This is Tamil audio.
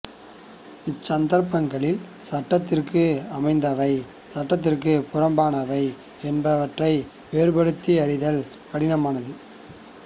இச் சந்தர்ப்பங்களில் சட்டத்துக்கு அமைந்தவை சட்டத்துக்குப் புறம்பானவை என்பவற்றை வேறுபடுத்தி அறிதல் கடினமானது